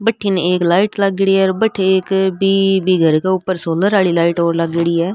बठन एक लाइट लागेड़ी है और बठ एक बि घर के ऊपर सोलर की लाइट लागेड़ी है।